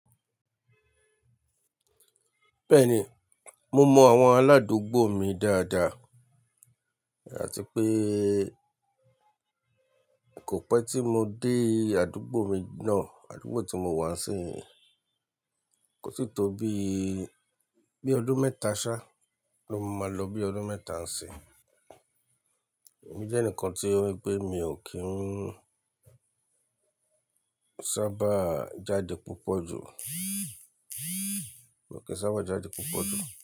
Bẹ́ẹ̀ni, mo mọ àwọn aládùúgbò mi dáadáa, àti pé kò pẹ́ tí mo dé àdúgbò mi náà, àdúgbò tí mo wà nisínyìí, kò tí tó bí I, bí ọdún mẹ́ta ṣá, ló máa lọ bí i ọdún mẹ́ta ńsin. Èmi jẹ́ ẹnìkan tí wípé mi ò kí ń sábà jáde púpọ̀ jù, ò kí ń sábà jáde púpọ̀ jù.